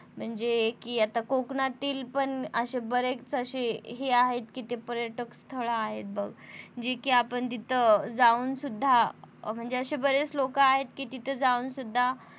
म्हणजे कि आता कोकणातील पण अशे बरेच अशे हे आहेत कि ते पर्यटक स्थळे आहेत बघ जे कि आपण तिथं जाऊन सुद्धा म्हणजे अशे बरेच लोक आहेत कि तिथं जाऊन सुद्धा